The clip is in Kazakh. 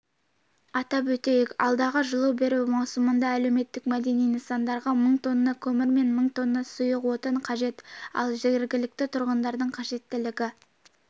атап өтейік алдағы жылу беру маусымында әлеуметтік-мәдени нысандарға мың тонна көмір мен мың тонна сұйық отын қажет ал жергілікті тұрғындардың қажеттілігі